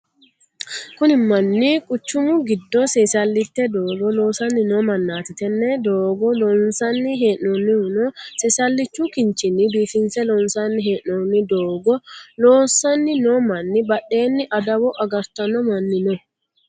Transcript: Kunni manni quchumu gido seesalite doogo loosanni noo mannaati. Tenne doogo loonsanni hee'noonnihu seesalichu kinchinni biifinse loonsanni hee'noonni. Doogo loosanni noo manni badheenni adawo agartano manni no.